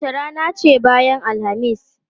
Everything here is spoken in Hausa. Wace rana ce bayan Alhamis?